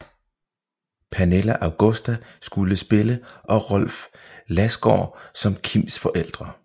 Pernilla Augusta skulle spille og Rolf Lassgård som Kims forældre